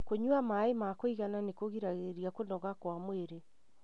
Kũnyua maĩ ma kũigana nĩkũgiragĩrĩria kũnoga kwa mwĩrĩ.